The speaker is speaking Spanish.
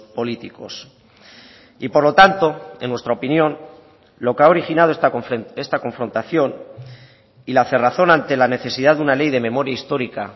políticos y por lo tanto en nuestra opinión lo que ha originado esta confrontación y la cerrazón ante la necesidad de una ley de memoria histórica